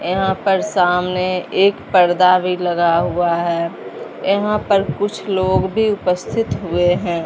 यहां पर सामने एक पर्दा भी लगा हुआ है यहां पर कुछ लोग भी उपस्थित हुए हैं।